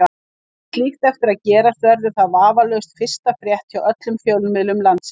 Eigi slíkt eftir að gerast verður það vafalaust fyrsta frétt hjá öllum fjölmiðlum landsins.